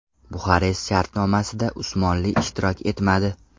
Buxarest shartnomasida Usmonli ishtirok etmadi.